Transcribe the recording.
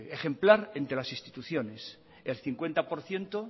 ejemplar entre las instituciones el cincuenta por ciento